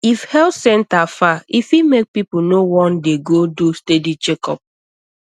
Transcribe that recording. if health center far e fit make people no wan dey go do steady checkup